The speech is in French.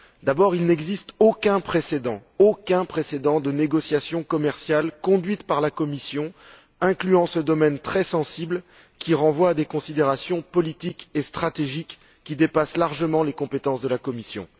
D'abord, il n'existe aucun précédent de négociation commerciale conduite par la Commission incluant ce domaine très sensible qui renvoie à des considérations politiques et stratégiques dépassant largement les compétences de ladite Commission.